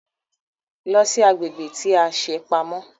Lọ sí agbègbè tí a ṣe pamọ́!